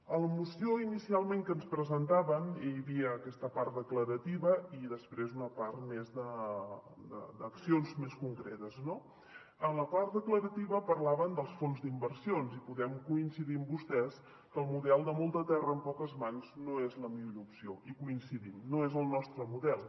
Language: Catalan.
a la moció que inicialment ens presentaven hi havia aquesta part declarativa i després una part més d’accions més concretes no en la part declarativa parlaven dels fons d’inversions i podem coincidir amb vostès que el model de molta terra en poques mans no és la millor opció hi coincidim no és el nostre model